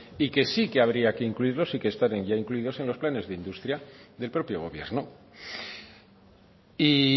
y que sí que habría que incluirlos y que están ya incluidos en los planes de industria del propio gobierno y